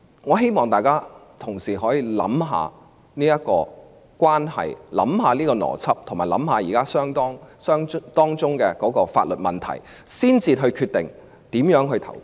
我希望同事可以想一想上述邏輯，兩宗案件的關係及當中的法律問題，才決定如何表決。